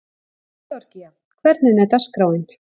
Georgía, hvernig er dagskráin?